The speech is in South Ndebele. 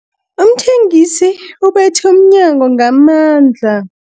Umthengisi ubethe umnyango ngamandla.